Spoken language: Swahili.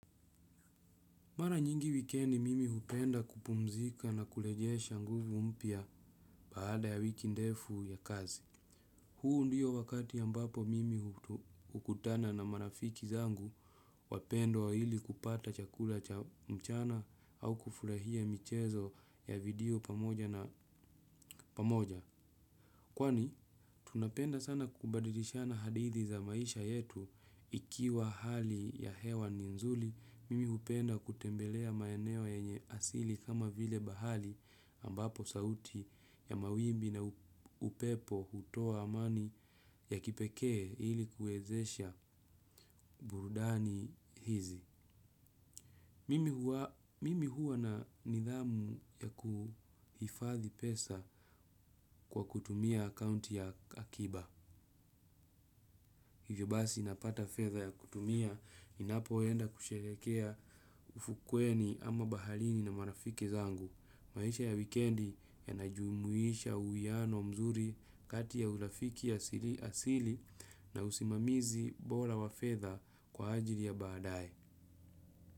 Mara nyingi wikendi mimi hupenda kupumzika na kurejesha nguvu mpya baada ya wiki ndefu ya kazi. Huu ndio wakati ambapo mimi hukutana na marafiki zangu wapendwa ili kupata chakula cha mchana au kufurahia michezo ya video pamoja na pamoja. Kwani, tunapenda sana kubadilishana hadithi za maisha yetu ikiwa hali ya hewa ni nzuri, mimi hupenda kutembelea maeneo yenye asili kama vile bahari ambapo sauti ya mawimbi na upepo hutoa amani ya kipekee ili kuwezesha burudani hizi. Mimi huwa na nidhamu ya kuhifadhi pesa kwa kutumia akaunti ya Akiba. Hivyo basi napata fedha ya kutumia, ninapoenda kusherehekea ufukweni ama baharini na marafiki zangu. Maisha ya weekendi yanajumuisha uwiano mzuri kati ya urafiki asili na usimamizi bora wa fedha kwa ajili ya baadaye.